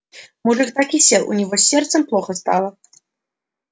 мужик так и сел у него с сердцем плохо стало